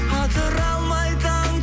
атыра алмай таң